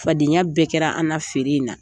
Fadenya bɛɛ kɛra an na feere in na.